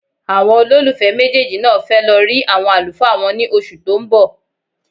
Àwọn olólùfẹ́ méjèèjì náà fẹ́ lọ rí àwọn àlùfáà wọn ní oṣù tó ń bọ̀.